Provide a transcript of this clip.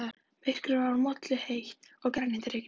Myrkrið var molluheitt og grenjandi rigning.